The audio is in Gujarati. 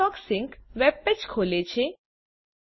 ફાયરફોકસ સિંક વેબપેજ ખોલે છે